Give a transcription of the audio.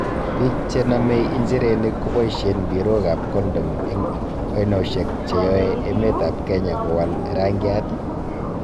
Bik chenome injirenik cheboishen mpirok ab condom en oinoshek che yoe emetab Kenya kowal rangiat ii?